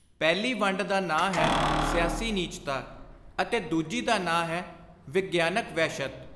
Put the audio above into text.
ਪਹਿਲੀ ਵੰਡ ਦਾ ਨਾਂ ਹੈ ਸਿਆਸੀ ਨੀਚਤਾ ਅਤੇ ਦੂਜੀ ਦਾ ਨਾਂ ਹੈ ਵਿਗਿਆਨਕ ਵਹਿਸ਼ਤ।